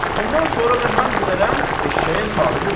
Ondan sonra da mən bilərəm, eşşəyin sahibi bilər.